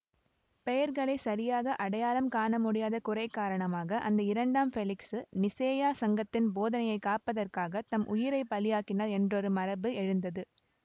பெயர்களைச் சரியாக அடையாளம் காணமுடியாத குறை காரணமாக அந்த இரண்டாம் பெலிக்சு நிசேயா சங்கத்தின் போதனையைக் காப்பதற்காகத் தம் உயிரையே பலியாக்கினார் என்றொரு மரபு எழுந்தது